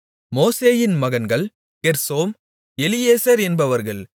மோசேயின் மகன்கள் கெர்சோம் எலியேசர் என்பவர்கள்